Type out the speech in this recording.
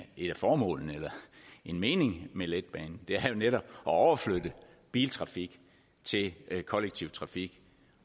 formålene meningen med letbanen er netop at overflytte biltrafik til kollektiv trafik